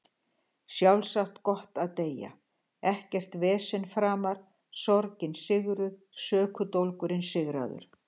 Sjálfsagt gott að deyja, ekkert vesen framar, sorgin sigruð, söknuðurinn sigraður.